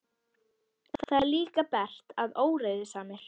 Það er líka bert að óreiðusamir